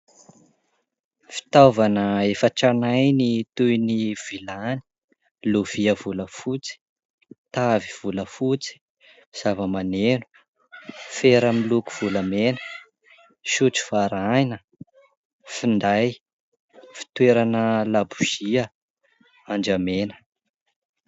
Fitaovana efa tranainy toy : ny vilany, lovia volafotsy, tavy volafotsy, zavamaneno, fera miloko volamena, sotro varahina, finday, fitoerana labozia, andramena.